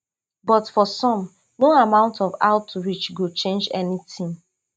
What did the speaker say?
but for some no amount of outreach go change anytin